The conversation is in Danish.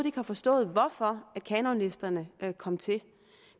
ikke har forstået hvorfor kanonlisterne kom til